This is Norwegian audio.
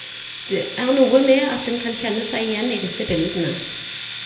Det er noe med at en kan kjenne seg igjen i disse bildene.